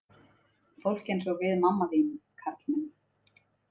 Fólk eins og við mamma þín, Karl minn.